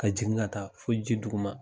Ka jigin ka taa fo ji duguma.